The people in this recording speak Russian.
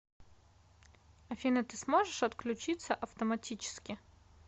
афина ты сможешь отключиться автоматически